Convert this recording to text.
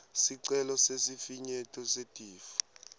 sicelo sesifinyeto setifo